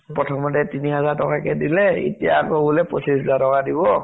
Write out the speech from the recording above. প্ৰথমতে তিনিহাজাৰ টকাকে দিলে, এতিয়া আকৌ বোলে পঁচিছ হাজাৰ টকা দিব ।